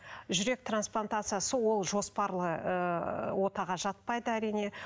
жүрек трансплантациясы ол жоспарлы ы отаға жатпайды әрине